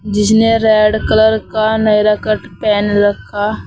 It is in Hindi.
जिसने रेड कलर का नायरा कट पहन रखा--